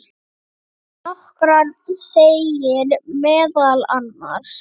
Um konur segir meðal annars